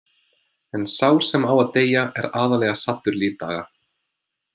En sá sem á að deyja er aðallega saddur lífdaga.